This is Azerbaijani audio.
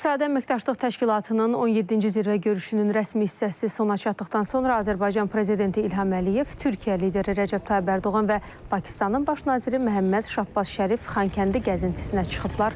İqtisadi əməkdaşlıq təşkilatının 17-ci zirvə görüşünün rəsmi hissəsi sona çatdıqdan sonra Azərbaycan prezidenti İlham Əliyev Türkiyə lideri Rəcəb Tayyip Ərdoğan və Pakistanın baş naziri Məhəmməd Şahbaz Şərif Xankəndi gəzintisinə çıxıblar.